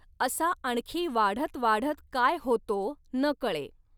असा आणखी वाढत वाढत काय होतो, नकळे!